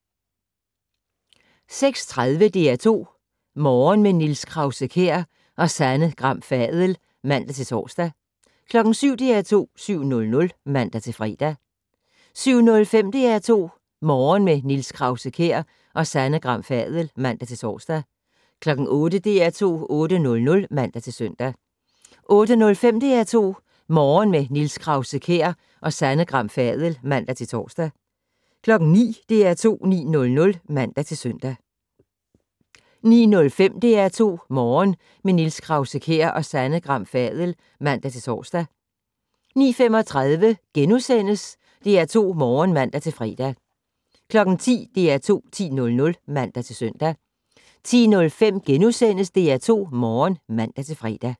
06:30: DR2 Morgen - med Niels Krause-Kjær og Sanne Gram Fadel (man-tor) 07:00: DR2 7:00 (man-fre) 07:05: DR2 Morgen - med Niels Krause-Kjær og Sanne Gram Fadel (man-tor) 08:00: DR2 8:00 (man-søn) 08:05: DR2 Morgen - med Niels Krause-Kjær og Sanne Gram Fadel (man-tor) 09:00: DR2 9:00 (man-søn) 09:05: DR2 Morgen - med Niels Krause-Kjær og Sanne Gram Fadel (man-tor) 09:35: DR2 Morgen *(man-fre) 10:00: DR2 10:00 (man-søn) 10:05: DR2 Morgen *(man-fre)